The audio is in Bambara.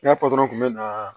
N'a patɔrɔn tun bɛ na